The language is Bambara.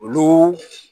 Olu